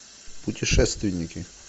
путешественники